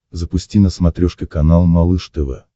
запусти на смотрешке канал малыш тв